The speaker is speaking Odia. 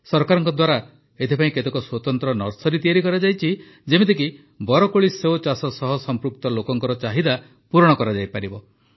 ସରକାରଙ୍କ ଦ୍ୱାରା ଏଥିପାଇଁ କେତେକ ସ୍ୱତନ୍ତ୍ର ନର୍ସରି ତିଆରି କରାଯାଇଛି ଯେପରିକି ବରକୋଳି ସେଓ ଚାଷ ସହ ସମ୍ପୃକ୍ତ ଲୋକଙ୍କ ଚାହିଦା ପୂରଣ କରାଯାଇପାରିବ